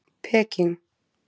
Peking